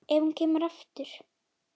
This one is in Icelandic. Ef hún kemur aftur.